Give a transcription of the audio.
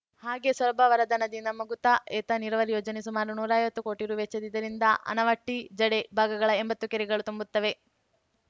ಹಾಗೆಯೇ ಸೊರಬ ವರದಾ ನದಿಯಿಂದ ಮೂಗೂತಾ ಏತ ನೀರಾವರಿ ಯೋಜನೆ ಸುಮಾರು ನೂರಾ ಐವತ್ತು ಕೋಟಿ ರುವೆಚ್ಚದ್ದು ಇದರಿಂದ ಆನವಟ್ಟಿ ಜಡೆ ಭಾಗಗಳ ಎಂಬತ್ತು ಕೆರೆಗಳು ತುಂಬುತ್ತವೆ